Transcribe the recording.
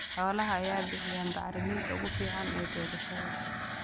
Xoolaha ayaa bixiya bacriminta ugu fiican ee beerashada.